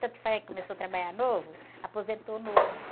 Tanto foi que começou a trabalhar novo, aposentou novo.